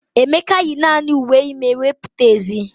Emeka yi naanị uwe ime wee pụta ezi.